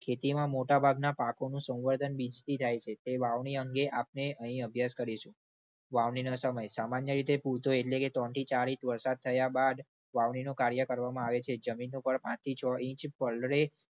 ખેતીમાં મોટા ભાગના પાકોનું સંવર્ધન બીજથી થાય છે. તે વાવણી અંગે આપણે અહીં અભ્યાસ કરીશું. વાવણીનો સમય. સામાન્ય રીતે પૂરતો, એટલે કે ત્રણથી ચાર ઇંચ વરસાત થયા બાદ વાવણીનું કાર્ય કરવામાં આવે છે. જમીન ઉપર પાંચથી છો ઇંચ પલળે